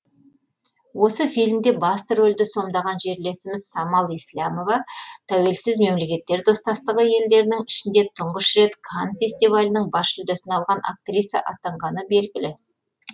осы фильмде басты рөлді сомдаған жерлесіміз самал еслямова тәуелсіз мемлекеттер достастығы елдерінің ішінде тұңғыш рет канн фестивалінің бас жүлдесін алған актриса атанғаны белгілі